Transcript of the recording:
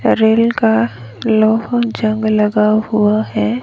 Rail का लोहा जंग लगा हुआ है।